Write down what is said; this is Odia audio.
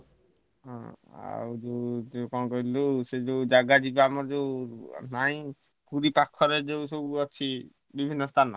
ହୁଁ ଆଉ ହଉଛି ଆଉ ସେ ଯୋଉ ଜାଗା ଯିବା ନାହିଁ ଏଠି ପାଖରେ ଯୋଉ ଅଛି ବିଭିନ୍ନ ସ୍ଥାନ।